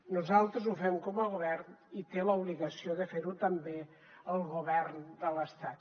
nosaltres ho fem com a govern i té l’obligació de fer ho també el govern de l’estat